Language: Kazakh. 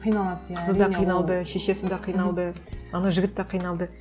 қиналады иә қызы да қиналды шешесі де қиналды анау жігіт те қиналды